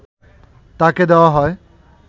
তাঁকে দেওয়া হয়